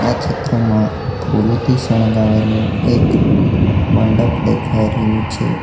આ ચિત્રમાં ફૂલોથી શણગાવેલુ એક મંડપ દેખાઈ રહ્યું છે.